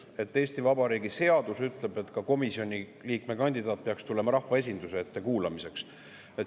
Nimelt, Eesti Vabariigi seadus ütleb, et komisjoni liikme kandidaat peaks tulema ka rahvaesinduse ette kuulamiseks.